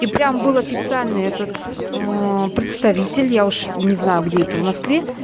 и прям был официально этот ээ представитель я уж не знаю где это в москве